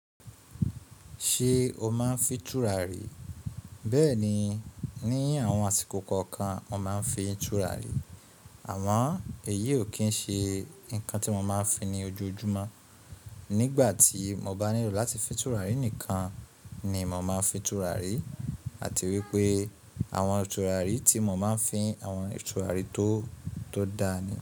Ṣé o máa ń fín túràrí? Bẹ́ẹ̀ni, ní àwọn àsìkò kọ̀ọ̀kan mo máa ń fín túràrí. Àmọ èyí o kín ń ṣe nǹkan tí mo máa ń fín ní ojoojúmọ́. Nígbà tí mo bá nílò láti fín túràrí nìkan ni mo máa fín túràrí àti wípé àwọn túràrí tí mo máa ń fín, àwọn túràrí tó da ni.